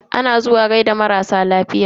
Ana zuwa gaida marasa lafiya.